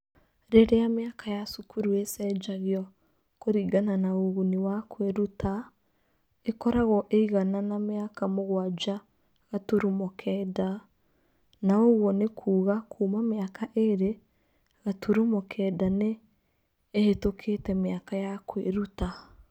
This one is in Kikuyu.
Rĩrĩa mĩaka ya cukuru ĩcenjagio kũringana na ũguni wa kwĩruta, ĩkoragwo ĩigana na mĩaka mũgwanja gaturumo kenda, na ũguo nĩ kuuga kuma mĩaka ĩĩrĩ gaturumo kenda nĩ ĩhĩtũkĩte mĩaka ya kwĩruta.